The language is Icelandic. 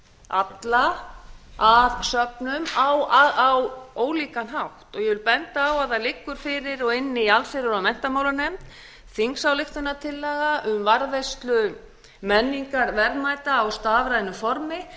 alla að söfnum á ólíkan hátt ég vil benda á að það liggur fyrir í allsherjar og menntamálanefnd þingsályktunartillaga um varðveislu menningarverðmæta í stafrænu formi